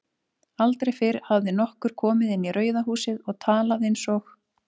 Aldrei fyrr hafði nokkur komið inn í Rauða húsið og talað einsog